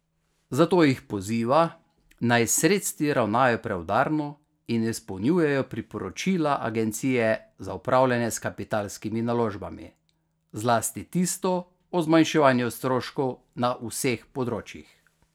Zato jih poziva, naj s sredstvi ravnajo preudarno in izpolnjujejo priporočila Agencije za upravljanje s kapitalskimi naložbami, zlasti tisto o zmanjševanju stroškov na vseh področjih.